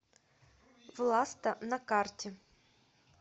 власта на карте